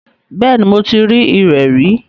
Bẹ́ẹ̀ni, mo ti rí irẹ̀ rí.